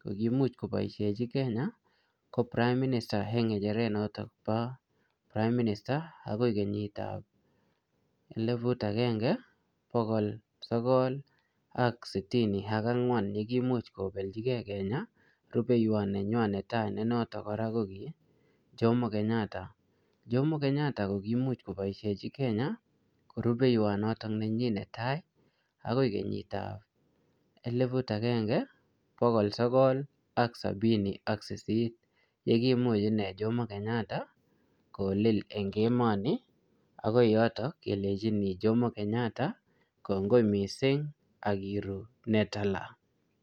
ko kimuch koboishechi Kenya, ko prime minister eng ngecheret notok bo prime minister, agoi kenyit ap eleput agenge, bokol sogol ak sitini ak ang'wan, yekimuch koblechikey Kenya rubeiywot nenywaa netai ne notok kora ko ki Jomo Kenyatta. Jomo Kenyatta, ko kimuch koboisechi Kenya ko rubeiywot notok nenyi netai, akoi kenyit ap eleput agenge, bokol sogol ak sabini ak sisit. Yekimuch inee Jomo Kenyata, kolil eng emo nii. Akoi yotok kelenjini Jomo Kenyatta kongoi missing, akiru ne tala